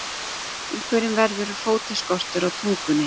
Einhverjum verður fótaskortur á tungunni